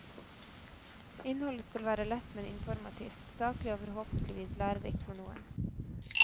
Innholdet skal være lett men informativt, saklig og forhåpentligvis lærerikt for noen.